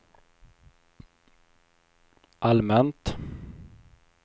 allmänt